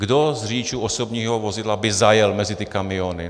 Kdo z řidičů osobního vozidla by zajel mezi ty kamiony?